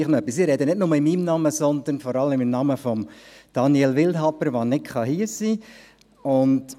Ich spreche nicht nur in meinem Namen, sondern vor allem im Namen von Daniel Wildhaber, der nicht hier sein kann.